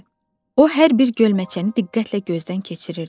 O hər bir gölməçəni diqqətlə gözdən keçirirdi.